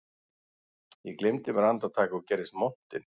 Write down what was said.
Ég gleymdi mér andartak og gerðist montinn